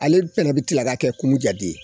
Ale fana bɛ tila k'a kɛ kulu jate ye